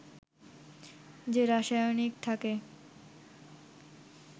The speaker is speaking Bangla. যে রাসায়নিক থাকে